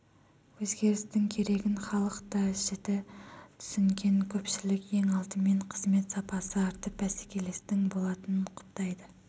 өзгерістің керегін халық та жіті түсінген көпшілік ең алдымен қызмет сапасы артып бәсекелестік болатынын құптайды